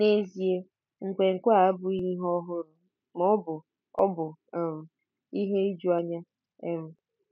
N'ezie, nkwenkwe a abụghị ihe ọhụrụ ma ọ bụ ọ bụ um ihe ijuanya. um